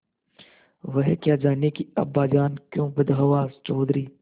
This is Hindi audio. वह क्या जानें कि अब्बाजान क्यों बदहवास चौधरी